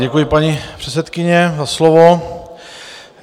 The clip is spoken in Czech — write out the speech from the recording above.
Děkuji, paní předsedkyně, za slovo.